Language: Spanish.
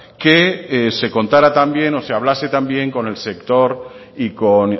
que se contara también o se hablase también con el sector y con